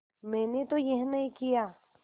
मैंने तो यह नहीं किया